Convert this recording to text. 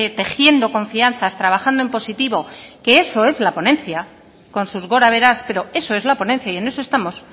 tejiendo confianzas trabajando en positivo que eso es la ponencia con sus gorabeheras pero eso es la ponencia y en eso estamos